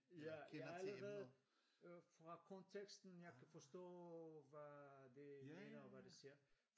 Ja jeg allerede øh fra konteksten jeg forstå hvad det mener og hvad det ser